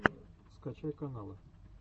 скачай каналы